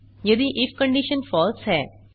यदि if condition false है